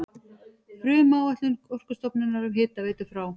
Frumáætlun Orkustofnunar um hitaveitu frá